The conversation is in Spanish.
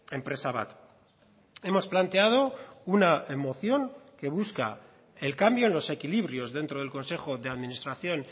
enpresa bat hemos planteado una moción que busca el cambio en los equilibrios dentro del consejo de administración